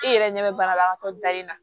E yɛrɛ ɲɛ bɛ banabagatɔ dalen na